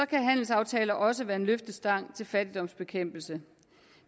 kan handelsaftaler også være en løftestang til fattigdomsbekæmpelse